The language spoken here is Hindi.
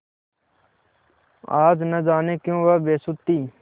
आज न जाने क्यों वह बेसुध थी